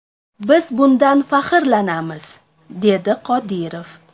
Biz bundan faxrlanamiz”, dedi Qodirov.